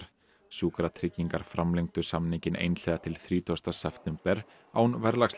sjúkratryggingar framlengdu samninginn einhliða til þrítugasta september án